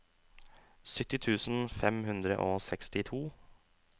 sytti tusen fem hundre og sekstito